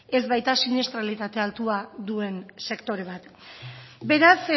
ez baita siniestralitate altua duen sektore bat beraz